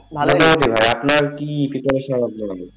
মোটামুটি ভায়া আপনার কি preparation তা বলুন?